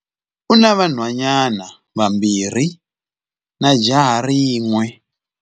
U na vanhwanyana vambirhi na jaha rin'we.